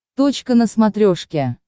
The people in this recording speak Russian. точка на смотрешке